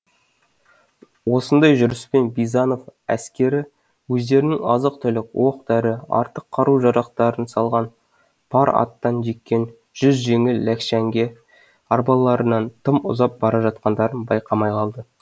осындай жүріспен бизанов әскері өздерінің азық түлік оқ дәрі артық қару жарақтарын салған пар аттан жеккен жүз жеңіл ләкшәңке арбаларынан тым ұзап бара жатқандарын байқамай қалды